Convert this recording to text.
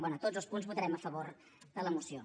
bé a tots els punts votarem a favor de la moció